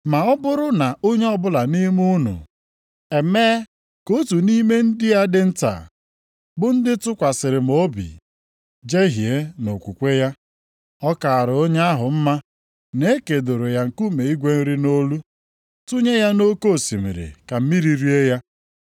“Ma ọ bụrụ na onye ọbụla nʼime unu emee ka otu nʼime ndị a dị nta, bụ ndị tụkwasịrị m obi, jehie nʼokwukwe ya, ọ kaara onye ahụ mma na e kedoro ya nkume igwe nri nʼolu, tụnye ya nʼoke osimiri ka mmiri rie ya.